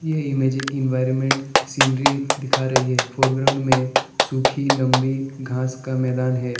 ये magic environment scenery दिखा रही है फोरग्राउंड में सूखी लंबी घास का मैदान है।